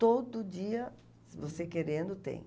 Todo dia, se você querendo, tem.